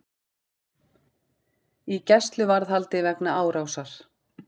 Í gæsluvarðhaldi vegna árásar